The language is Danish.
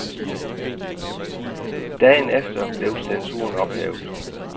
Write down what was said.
Dagen efter blev censuren ophævet.